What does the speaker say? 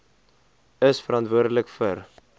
is verantwoordelik vir